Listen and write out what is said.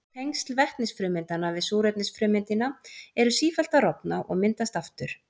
Tengsl vetnisfrumeindanna við súrefnisfrumeindina eru sífellt að rofna og myndast aftur.